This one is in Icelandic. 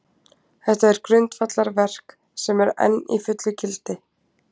Þetta er grundvallarverk, sem enn er í fullu gildi.